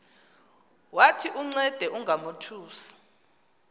wathi uncede ungamothusi